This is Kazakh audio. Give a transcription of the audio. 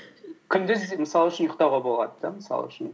күндіз мысал үшін ұйықтауға болады да мысал үшін